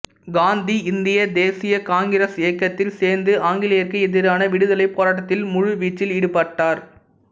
காந்தி இந்திய தேசிய காங்கிரஸ் இயக்கத்தில் சேர்ந்து ஆங்கிலேயர்க்கு எதிரான விடுதலைப் போராட்டத்தில் முழு வீச்சில் ஈடுபட்டார்